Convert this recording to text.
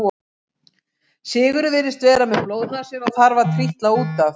Sigurður virðist vera með blóðnasir og þarf að trítla út af.